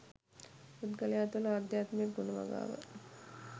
පුද්ගලයා තුළ ආධ්‍යාත්මික ගුණ වගාව